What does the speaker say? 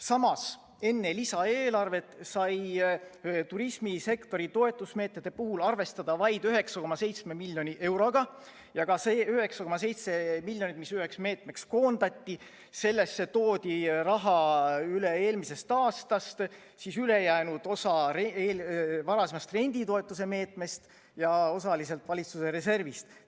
Samas, enne lisaeelarvet sai turismisektori toetusmeetmete puhul arvestada vaid 9,7 miljoni euroga ja sellesse summasse 9,7 miljonit, mis üheks meetmeks koondati, toodi raha üle eelmisest aastast: ülejäänud osa varasemast renditoetuse meetmest ja osaliselt valitsuse reservist.